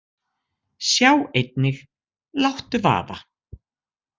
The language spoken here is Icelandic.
Sjá einnig: Láttu vaða!